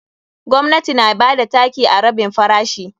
Gwamnati na bada taki a rabin farashi.